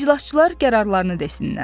İclasçılar qərarlarını desinlər.